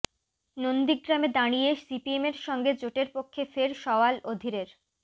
নন্দীগ্রামে দাঁড়িয়ে সিপিএমের সঙ্গে জোটের পক্ষে ফের সওয়াল অধীরের